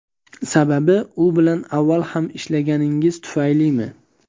Sababi u bilan avval ham ishlaganingiz tufaylimi?